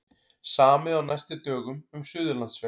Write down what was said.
Samið á næstu dögum um Suðurlandsveg